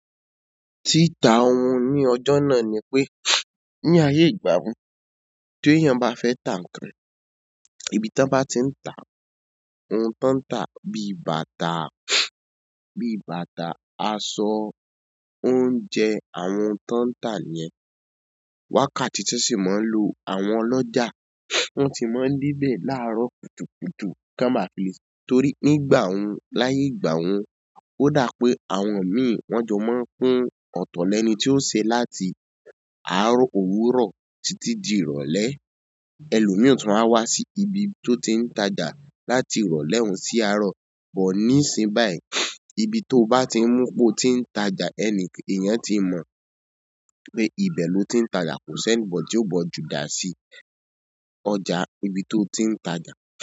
Tí ta ohun ní ọjọ́ náà ni pé, ní ayé ìgbà wo, téyàn bá fẹ́ tà nǹkan, ibi tán bá ti ń tà á, ohun tán ń tà, bí i bàtà, bí i bàtà, aṣọ, oúnjẹ, àwọn ohun tán ń tà nìyẹn, wákàtí tán sì ma ń lò, àwọn ọlọ́jà, wọ́n ti máa ń dé bẹ̀ láàárọ̀ kùtùkùtù kán ba fi le. Torí nígbà hun, láyé ìgbà hun, ó dà í pé àwọn míì wọ́n jọ máa ń pín, ọ̀tọ̀ lẹni tí yó ṣe láti àárọ̀ òwúrọ̀ títí di ìrọ̀lẹ́. Ẹlòmíì tún ma wá wá sí ibi tó ti ń tajà láti ìrọ̀lẹ́ hun sí àárọ̀. But ní ìsìnyí báyìí, ibi to bá ti mú pé o ti ń tajà, ẹni, èèyàn ti mọ̀ pé ibẹ̀ lo ti ń tajà. Kò sí anybody tí ó bọ́ ọ ju dà si ọjà ibi to ti ń tajà.